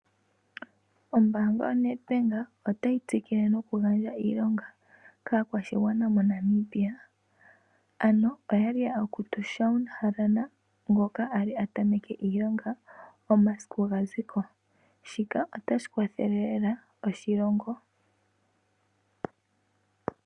Ombanga yo Nedbank otayi tsikila noku gandja iilonga kakwashigwana monamibia, ano oyali ya kuta Shawn Helena ngoka ali atameke iilonga omasiku sho gaziko , shila otashi kwathele lela oshilongo.